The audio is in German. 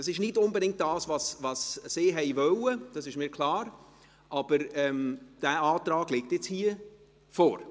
Es ist nicht unbedingt das, was die Urheber wollten, das ist mir klar – aber dieser Antrag liegt nun hier vor.